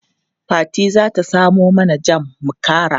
Fati za ta samo mana jam mu kara.